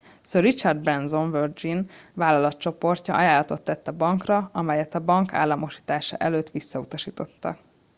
sir richard branson virgin vállalatcsoportja ajánlatot tett a bankra amelyet a bank államosítása előtt visszautasítottak